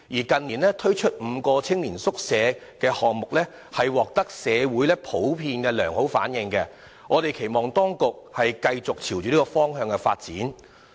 近年推出的5個青年宿舍計劃項目普遍獲得社會良好反應，我們因而期望當局繼續朝着這個方向發展。